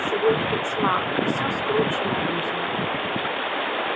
свет и тьма всё скручено в узел